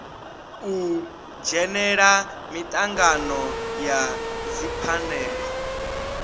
u dzhenela mitangano ya dziphanele